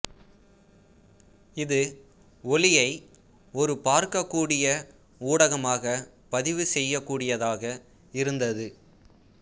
இது ஒலியை ஒரு பார்க்கக்கூடிய ஊடகமாகப் பதிவு செய்யக்கூடியதாக இருந்தது